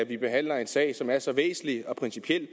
vi behandler en sag som er så væsentlig og principiel